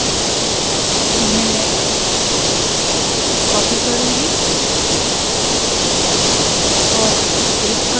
जिन्हें मैं copy और paste करूँगी